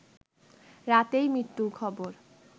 রাতেই মৃত্যুর খবর